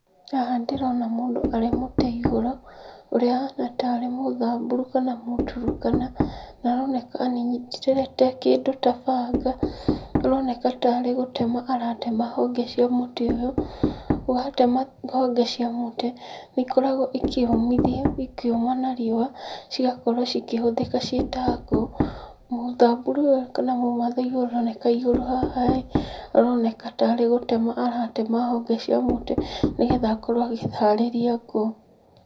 Haha ndĩrona mũndũ arĩ mũtĩ igũrũ ũrĩa ahana ta mũthaburu kana mũtrukana na aroneka anyitĩte kĩndũ ta banga, aroneka tarĩ gũtema aratema honge cia mũtĩ ũyũ, watema honge cia mũtĩ, nĩikoragwo ikĩyũmithia ikĩũma na riũa cigakorwo igĩtũmĩka ta ngũ, muthaburu ũyũ kana mũmathai aroneka igũrũ haha ĩ aroneka tarĩ gũtema aratema honge cia mũtĩ nĩgetha akorwo akĩharĩria ngũ.